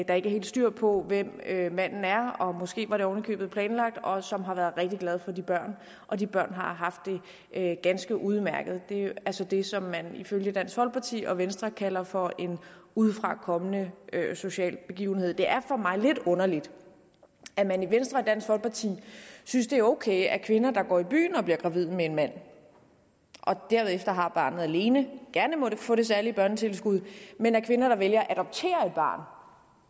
der ikke er helt styr på hvem manden er måske var det ovenikøbet planlagt og som har været rigtig glade for de børn og de børn har haft det ganske udmærket det er så det som man ifølge dansk folkeparti og venstre kalder for en udefrakommende social begivenhed det er for mig lidt underligt at man i venstre og dansk folkeparti synes det er ok at kvinder der går i byen og bliver gravide med en mand og derefter har barnet alene gerne må få det særlige børnetilskud men at kvinder der vælger at adoptere